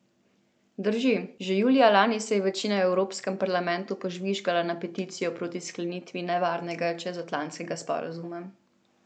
Drži, že julija lani se je večina v Evropskem parlamentu požvižgala na peticijo proti sklenitvi nevarnega čezatlantskega sporazuma.